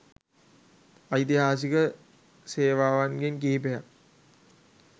ඓතිහාසික සේවාවන්ගෙන් කිහිපයක්